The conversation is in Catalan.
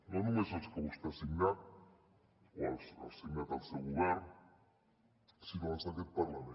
no només els que vostè ha signat o ha signat el seu govern sinó els d’aquest parlament